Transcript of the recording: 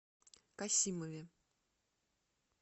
касимове